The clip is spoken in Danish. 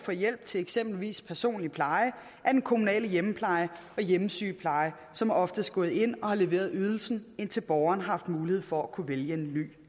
for hjælp til eksempelvis personlig pleje er den kommunale hjemmepleje og hjemmesygepleje som oftest gået ind og har leveret ydelsen indtil borgeren har haft mulighed for at kunne vælge en ny